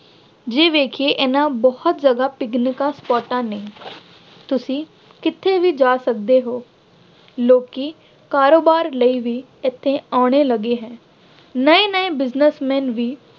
ਜੇ ਵੇਖੀਏ ਇਹਨਾ ਬਹੁਤ ਜਗ੍ਹਾ ਪਿਕਨਿਕਾਂ ਸਪਾਟਾਂ ਨਹੀਂ ਹਨ। ਤੁਸੀਂ ਕਿਤੇ ਵੀ ਜਾ ਸਕਦੇ ਹੋ। ਲੋਕੀ ਕਾਰੋਬਾਰ ਲਈ ਵੀ ਇੱਥੇ ਆਉਣੇ ਲੱਗੇ ਹੈ। ਨਏ ਨਏ businessmen ਵੀ